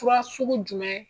Fura sugu jumɛn